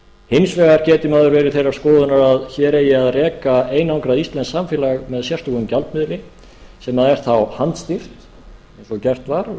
hins vegar getur maður verið þeirrar skoðunar að hér eigi að reka einangrað íslenskt samfélag með sérstökum gjaldmiðli sem er þá handstýrt eins og gert var